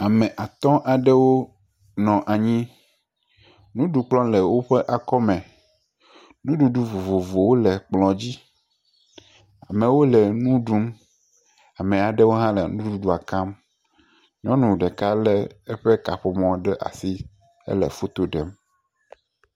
Ame at aɖewo nɔ anyi. Nuɖukplɔ le woƒe akɔ me. Nuɖuɖu vovovowo le kplɔ dzi. Ame aɖewo le nuɖum eye ame aɖewo le nuɖudua kam. Nyɔnu ɖeka le eƒe kaƒomɔ ɖe asi hele foto ɖem